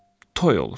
Toy olur.